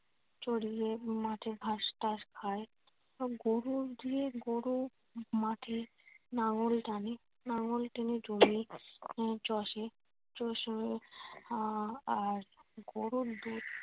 চড়িয়ে মাঠের ঘাস টাস খায়। হম গরু দিয়ে গরু মাঠে নাঙ্গল টানে নাঙ্গল টেনে জমি আহ চষে। চষে আহ আর গরুর দুধ